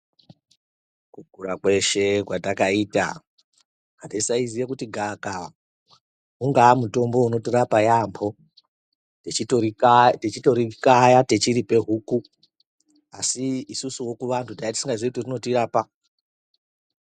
Kukura kweshe kwatakaita hatisaiziva kuti gavakava ungaa mutombo unotorapa yaambo techitorikayateiripa huku asi isu vantu tanga tisingazii kuti rinotirapa.